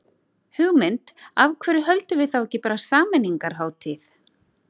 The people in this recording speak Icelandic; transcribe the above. Hugmynd, af hverju höldum við þá ekki bara sameiningarhátíð.